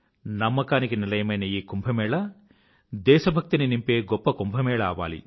నమ్మకానికి నిలయమైన ఈ కుంభ్ దేశభక్తి ని నింపే గొప్ప కుంభ్ అవ్వాలి